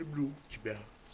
люблю тебя